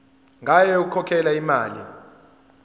ngayo yokukhokhela imali